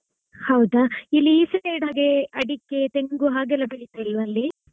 ಹೌದಾ ಇಲ್ಲಿ ಈ side ಇದ್ದಾಗೆ ಅಡಿಕೆ ತೆಂಗು ಹಾಗೆಲ್ಲ ಬೆಳಿತಿಲ್ವಾ ಅಲ್ಲಿ?